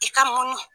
I ka munu